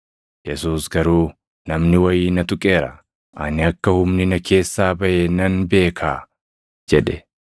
Yesuus garuu, “Namni wayii na tuqeera; ani akka humni na keessaa baʼe nan beekaa” jedhe.